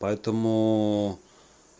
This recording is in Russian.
поэтому